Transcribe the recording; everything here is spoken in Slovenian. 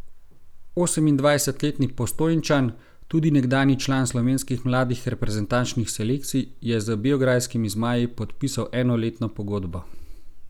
Osemindvajsetletni Postojnčan, tudi nekdanji član slovenskih mladih reprezentančnih selekcij, je z beograjskimi zmaji podpisal enoletno pogodbo.